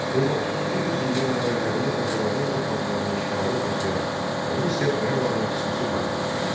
19-cu yüzilliyin əvvəllərində Azərbaycan torpaqlarının işğalına başlayan Rusiya Qarabağa xüsusi maraq göstərirdi.